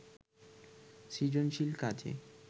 সৃজনশীল কাজে